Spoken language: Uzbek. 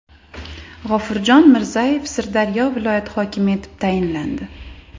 G‘ofurjon Mirzayev Sirdaryo viloyati hokimi etib tayinlandi.